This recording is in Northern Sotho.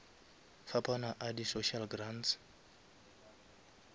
fapana a di social grants